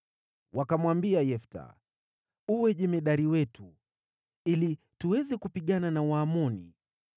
Wakamwambia Yefta, “Uwe jemadari wetu, ili tuweze kupigana na Waamoni.”